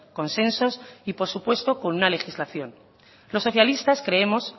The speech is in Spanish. consensos y por supuesto con una legislación los socialistas creemos